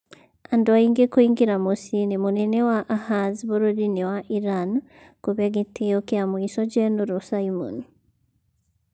Andũ aingĩ kũingira muciĩ-inĩ mũnene wa Ahaz bururiini wa Iran, kuhe gitio kia muico jenuru Simon.